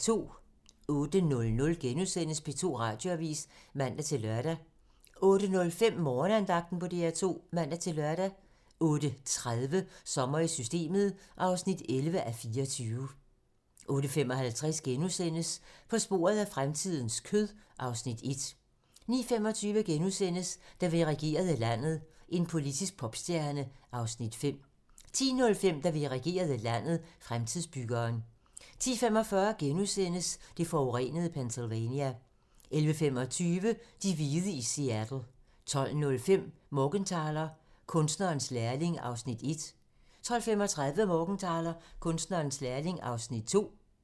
08:00: P2 Radioavis *(man-lør) 08:05: Morgenandagten på DR2 (man-lør) 08:30: Sommer i Systemet (11:24) 08:55: På sporet af fremtidens kød (Afs. 1)* 09:25: Da vi regerede landet - en politisk popstjerne (Afs. 5)* 10:05: Da vi regerede landet - Fremtidsbyggeren 10:45: Det forurenede Pennsylvania * 11:25: De hvide i Seattle 12:05: Morgenthaler: Kunstnerens lærling (1:5) 12:35: Morgenthaler: Kunstnerens lærling (2:5)